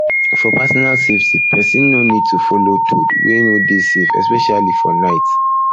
for personal safety persons no need to follow toad wey no dey safe especially for night especially for night